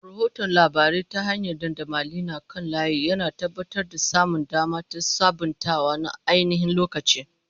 Rahoton labarai ta hanyar dandamali na kan layi, yana tabbatar da samun dama da sabuntawa na ainihin-lokaci.